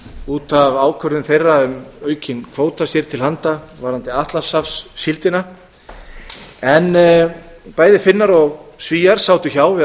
út af ákvörðun þeirra um aukinn kvóta sér til handa varðandi atlantshafssíldina en bæði finnar og svíar sátu hjá við